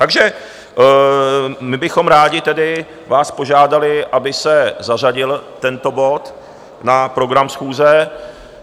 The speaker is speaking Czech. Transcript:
Takže my bychom rádi tedy vás požádali, aby se zařadil tento bod na program schůze.